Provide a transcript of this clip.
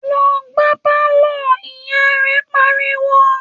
‘Lo̩ gbá pálò̩!’, ìyá rè̩ pariwo